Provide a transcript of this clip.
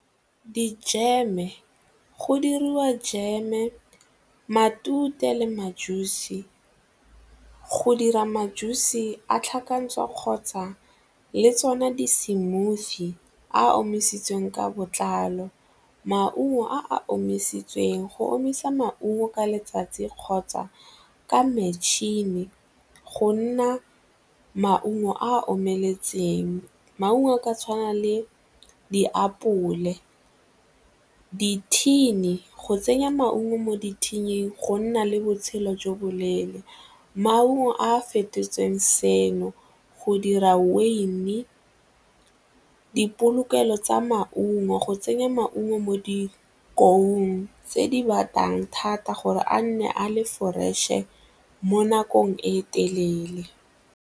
Dijeme, go diriwa jeme, matute le ma-juice-e go dira ma-juice-e a tlhakantsha kgotsa le tsona di-smoothie a a omisitsweng ka botlalo. Maungo a a omisitsweng, go omisa maungo ka letsatsi kgotsa ka matšhini go nna maungo a omeletseng, maungo a ka tshwana le diapole. Dithini, go tsenya maungo mo di-tin-ing go nna le botshelo jo bo leele, maungo a fetotsweng seno go dira dipolokelo tsa maungo go tsenya maungo mo di tse di batang thata gore a nne a le fresh-e mo nakong e telele.